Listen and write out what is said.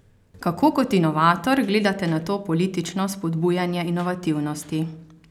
Kako kot inovator gledate na to politično spodbujanje inovativnosti?